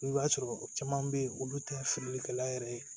I b'a sɔrɔ caman be yen olu tɛ fili kɛla yɛrɛ ye